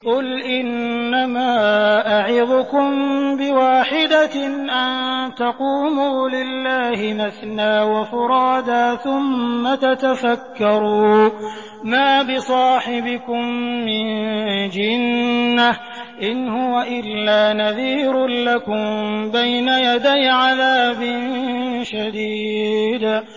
۞ قُلْ إِنَّمَا أَعِظُكُم بِوَاحِدَةٍ ۖ أَن تَقُومُوا لِلَّهِ مَثْنَىٰ وَفُرَادَىٰ ثُمَّ تَتَفَكَّرُوا ۚ مَا بِصَاحِبِكُم مِّن جِنَّةٍ ۚ إِنْ هُوَ إِلَّا نَذِيرٌ لَّكُم بَيْنَ يَدَيْ عَذَابٍ شَدِيدٍ